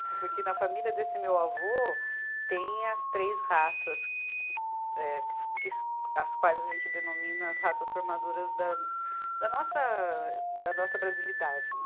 Porque na família desse meu avô tem as três raças, eh que as quais a gente denomina as raças formadoras da, da nossa da nossa brasilidade, né?